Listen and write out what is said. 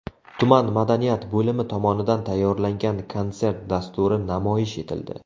Tuman madaniyat bo‘limi tomonidan tayyorlangan konsert dasturi namoyish etildi.